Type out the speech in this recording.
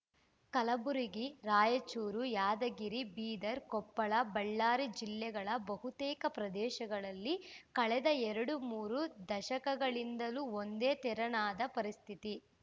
ಕಲಬುರಗಿ ರಾಯಚೂರು ಯಾದಗಿರಿ ಬೀದರ್‌ ಕೊಪ್ಪಳ ಬಳ್ಳಾರಿ ಜಿಲ್ಲೆಗಳ ಬಹುತೇಕ ಪ್ರದೇಶಗಳಲ್ಲಿ ಕಳೆದ ಎರಡು ಮೂರು ದಶಕಗಳಿಂದಲೂ ಒಂದೇ ತೆರನಾದ ಪರಿಸ್ಥಿತಿ